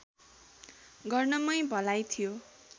गर्नमै भलाइ थियो